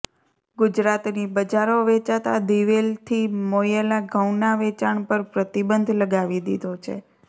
ગુજરાતની બજારો વેચાતા દિવેલથી મોયેલા ઘઉંના વેચાણ પર પ્રતિબંધ લગાવી દીધો છે